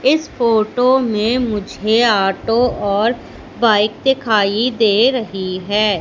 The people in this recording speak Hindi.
इस फोटो में मुझे ऑटो और बाइक दिखाई दे रहीं है।